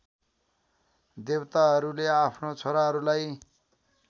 देवताहरूले आफ्नो छोराहरूलाई